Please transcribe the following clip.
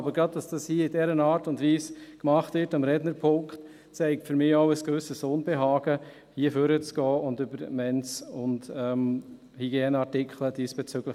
Aber das das gerade hier in dieser Art und Weise am Rednerpult gemacht wird, zeigt für mich auch ein gewisses Unbehagen, hier nach vorne zu treten und über die Mens und Hygieneartikel zu sprechen.